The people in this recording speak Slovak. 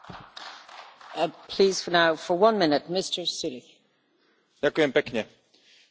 Rada opäť raz vyzýva na relokáciu migrantov v rámci existujúcich prerozdeľujúcich schém.